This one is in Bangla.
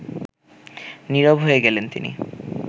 নীরব হয়ে গেলেন তিনি